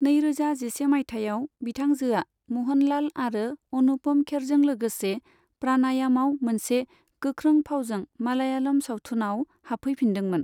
नैरोजा जिसे मायथाइयाव, बिथांजोआ म'हनलाल आरो अनुपम खेरजों लोगोसे प्राणायामयाव मोनसे गोख्रों फावजों मलयालम सावथुनाव हाबफैफिनदोंमोन।